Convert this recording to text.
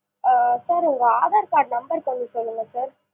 ஆ sir உங்க aadhar card number கொஞ்சம் சொல்லுங்க sir